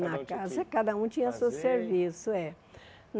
Na casa cada um tinha seu serviço. É